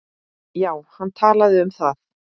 Já, hann talaði um það.